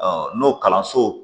n'o kalanso